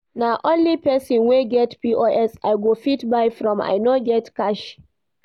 Na only pesin wey get POS I go fit buy from, I no get cash.